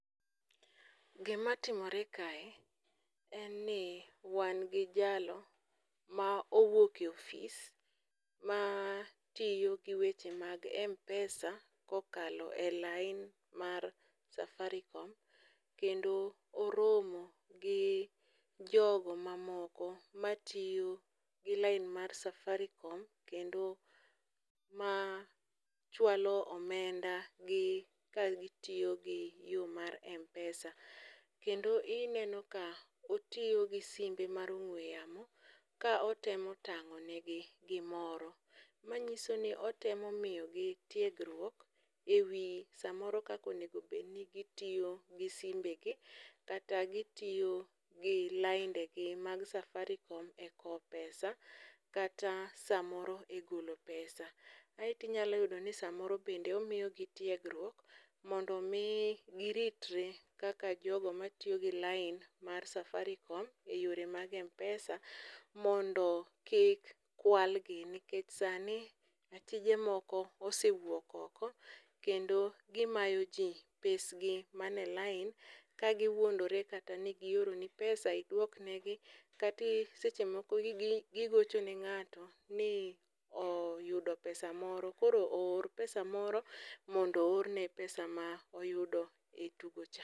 Gimatimore kae en ni wan gi jalo ma owuok e ofis matiyo gi weche mag m-pesa kokalo e lain mar safaricom kendo oromo gi jogo mamoko matiyo gi lain mar safaricom kendo ma chwalo omenda gi kagitiyo gi yo mar m-pesa. kendo ineno ka otiyo gi simbe mar ong'we yamo ka otemo tang'o negi gimoro, manyiso ni otemo miyogi tiegruok e wi samoro kaka onmego obed ni gitiyo gi simbegi kata gitiyo gi laindegi mag safaricom e kowo pesa kata samoro e golo pesa. Aeto inyalo yudo ni samoro bende omiyogi tiegruok mondo omi gititre kaka jogo matiyo gi lain mar safaricom e yore mag m-pesa mondo kik kwalgi nikech sani achije moko osewuok oko kendo gimayogi pesgi mane lain ka giwuondore kata ni gioroni pesa iwdok negi kata seche moko gigocho ne ng'ato ni oyudo pesa moro koro oor pesa moro mondo oorne pesa moro ma oyudo e tugocha.